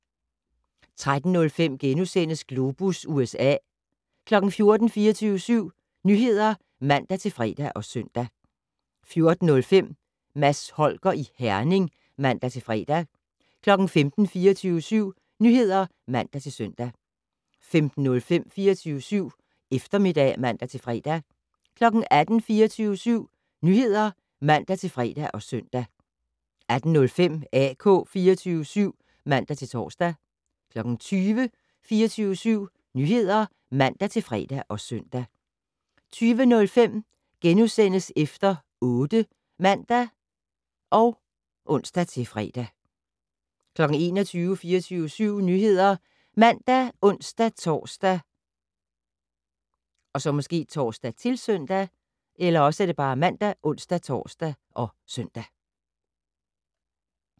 13:05: Globus USA * 14:00: 24syv Nyheder (man-fre og søn) 14:05: Mads Holger i Herning (man-fre) 15:00: 24syv Nyheder (man-søn) 15:05: 24syv Eftermiddag (man-fre) 18:00: 24syv Nyheder (man-fre og søn) 18:05: AK 24syv (man-tor) 20:00: 24syv Nyheder (man-fre og søn) 20:05: Efter 8 *(man og ons-fre) 21:00: 24syv Nyheder ( man, ons-tor, -søn)